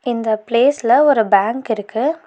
இந்த பிளேஸ்ல ஒரு பேங்க் இருக்கு.